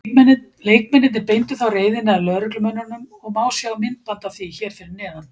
Leikmennirnir beindu þá reiðinni að lögreglumönnunum og má sjá myndband af því hér fyrir neðan.